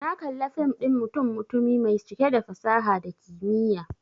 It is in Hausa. Na kalla fim ɗin mutum-mutumi mai cike da fasaha da kimiyya.